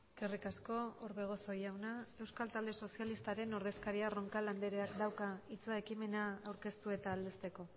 eskerrik asko orbegozo jauna euskal talde sozialistaren ordezkaria roncal andreak dauka hitza ekimena aurkeztu eta aldezteko